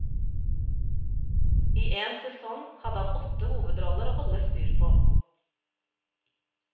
I en sesong hadde han åtte hovedroller å holde styr på.